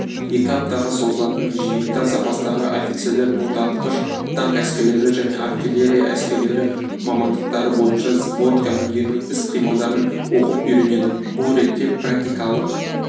екі аптаға созылатын жиында запастағы офицерлер мотоатқыш танк әскерлері және артиллерия әскерлері мамандықтары бойынша взвод командирінің іс-қимылдарын оқып-үйренеді бұл ретте практикалық